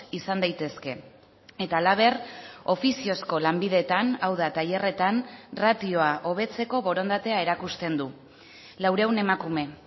izan daitezke eta halaber ofiziozko lanbideetan hau da tailerretan ratioa hobetzeko borondatea erakusten du laurehun emakume